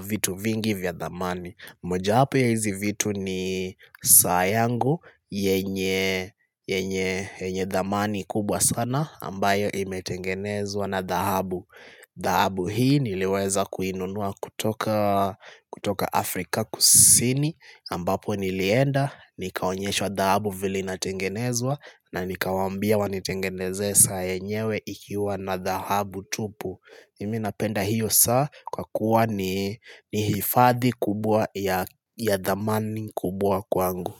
vitu vingi vya thamani moja hapo ya hizi vitu ni saa yangu yenye thamani kubwa sana ambayo imetengenezwa na dhahabu dhahabu hii niliweza kuinunua kutoka Afrika kusini ambapo nilienda Nikaonyeshwa dhahabu vile inatengenezwa na nikawambia wanitengenezee saa yenyewe ikiwa na dhahabu tupu mimi napenda hiyo saa kwa kuwa ni hifadhi kubwa ya thamani kubwa kwangu.